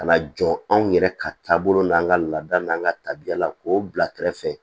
Ka na jɔ anw yɛrɛ ka taabolo n'an ka laada n'an ka tabiyala k'o bila kɛrɛfɛ